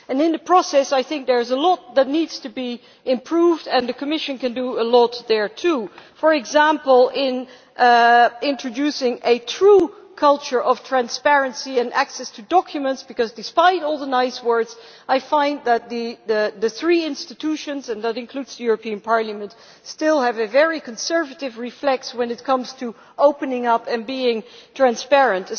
In the process I think there is a lot that needs to be improved, and the Commission can do a lot there too, for example by introducing a true culture of transparency and access to documents because, despite all the nice words, I find that the three institutions and that includes the European Parliament still have a very conservative reflex when it comes to opening up and being transparent.